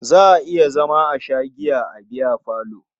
Za a iya zama a sha giya a biyafalo.